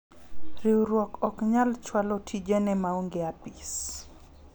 riwruok ok nyal chwalo tijene maonge apis